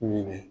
Ɲinɛn